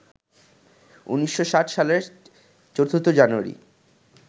১৯৬০ সালের ৪ জানুয়ারি